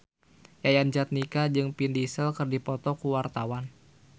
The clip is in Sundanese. Yayan Jatnika jeung Vin Diesel keur dipoto ku wartawan